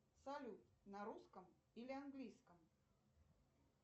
салют на русском или английском